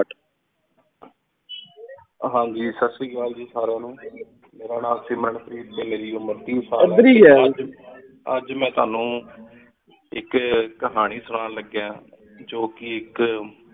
ਹਨ ਜੀ ਸਤ ਸ੍ਰੀ ਅਕਾਲ ਜੀ ਸਾਰਿਆਂ ਨੂ ਮੇਰਾ ਨਾਮੇ ਮਨਪ੍ਰੀਤ ਸਿੰਘ ਹੈ ਜੀ ਅਜੇ ਮੈਂ ਤੁਵਾਨੁ ਏਕ ਕਹਾਨੀ ਸੁਨਾਨ ਲ੍ਗਾਯਨ ਜੋ ਕੀ ਏਕ